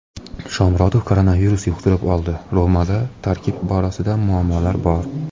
Shomurodov koronavirus yuqtirib oldi: "Roma"da tarkib borasida muammolar bor;.